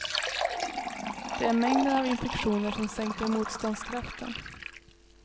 Det är mängden av infektioner som sänker motståndskraften.